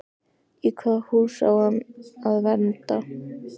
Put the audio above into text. Í hvaða hús á hann að venda?